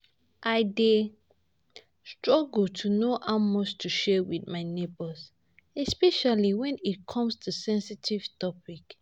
I dey struggle to know how much to share with my neighbors, especially when it come to sensitive topics.